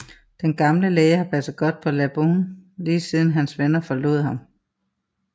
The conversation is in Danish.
Den gamle læge har passet godt på Laboon lige siden hans venner forlod ham